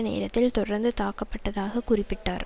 நேரத்தில் தொடர்ந்து தாக்கப்பட்டதாக குறிப்பிட்டார்